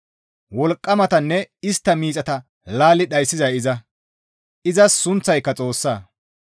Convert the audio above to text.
wolqqamatanne istta miixata laalli dhayssizay iza; izas sunththayka Xoossa.